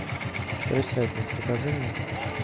крысятник покажи мне